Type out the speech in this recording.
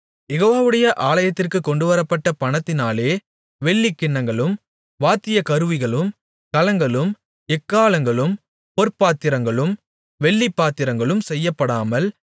யெகோவாவுடைய ஆலயத்திற்குக் கொண்டுவரப்பட்ட பணத்தினாலே வெள்ளிக்கிண்ணங்களும் வாத்தியக்கருவிகளும் கலங்களும் எக்காளங்களும் பொற்பாத்திரங்களும் வெள்ளிப் பாத்திரங்களும் செய்யப்படாமல்